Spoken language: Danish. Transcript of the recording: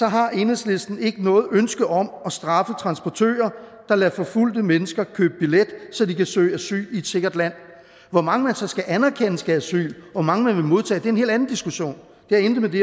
har enhedslisten ikke noget ønske om at straffe transportører der lader forfulgte mennesker købe billet så de kan søge asyl i et sikkert land hvor mange man så skal anerkende skal have asyl hvor mange man vil modtage er en helt anden diskussion det har intet med det